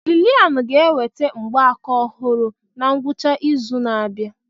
Lillian ga-enweta mgbaaka ọhụrụ na ngwụcha izu na-abịa.